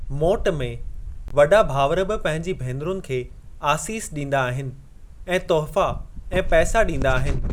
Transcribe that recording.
मोटु में, वॾा भावर बि पहिंजी भेनरुनि खे आसीस ॾींदा आहिनि ऐं तुहिफ़ा ऐं पैसा ॾींदा आहिनि।